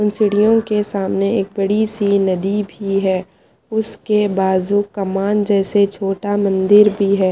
Ceiling के सामने एक बढ़ईसी नदी भी हैं उसके बाजू कमान जैसे छोटा मंदिर भी हैं।